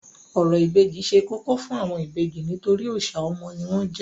Orò ìbejì ṣe kókó fún àwọn ìbejì nítorí òòṣà ọmọ ni wọ́n jẹ́.